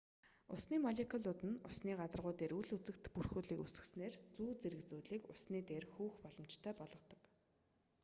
усны молекулууд нь усны гадаргуу дээр үл үзэгдэх бүрхүүлийг үүсгэснээр зүү зэрэг зүйлийг усны дээр хөвөх боломжтой болгодог